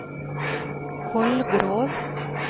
Kolgrov